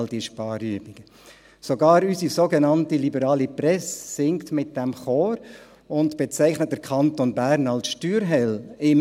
Sogar unsere sogenannte liberale Presse singt in diesem Chor mit und bezeichnet den Kanton Bern als «Steuerhölle».